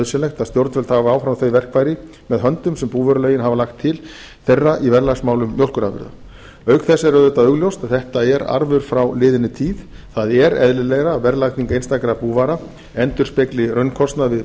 nauðsynlegt að stjórnvöld hafi áfram þau verkfæri með höndum sem búvörulögin hafa lagt til þeirra í verðlagsmálum mjólkurafurða auk þess er auðvitað augljóst að þetta er arfur frá liðinni tíð það er eðlilegra að verðlagning einstakra búvara endurspegli raunkostnað við